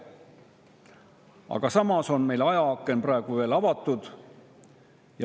Aga ajaaken on praegu veel avatud.